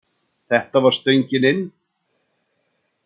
Þetta var stöngin inn!